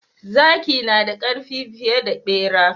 Zaki nada karfi fiye da bera.